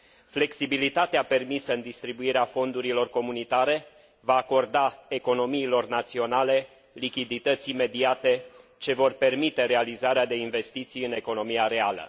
Flexibilitatea permisă în distribuirea fondurilor comunitare va acorda economiilor naționale lichidități imediate ce vor permite realizarea de investiții în economia reală.